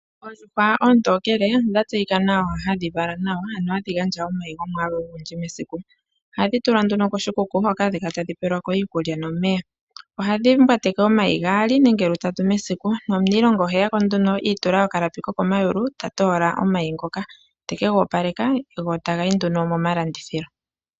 Oondjuhwa oontokele odha tseyika hadhi vala nawa, ano hadhi gandja omayi gomwaalu ogundji mesiku. Ohadhi tulwa nduno koshikuku hoka hadhi kala tadhi pelwa ko iikulya nomeya. Ohadhi mbwateke omayi lwaali nenge lutatu mesiku nomuniilonga oheya ko nduno i itula okalapi kokomayulu ta toola omayi ngoka te ka opaleka go taga yi nduno momalandithilo.